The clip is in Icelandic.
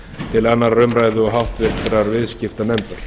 til annarrar umræðu og háttvirtur viðskiptanefndar